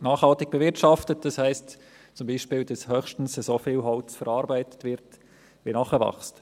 Nachhaltig bewirtschaftet heisst zum Beispiel, dass höchstens so viel Holz verarbeitet wird, wie nachwächst.